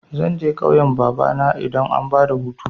Zan je ƙauyan babana idan an bada hutu.